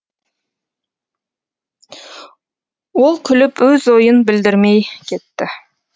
ол күліп өз ойын білдірмей кетті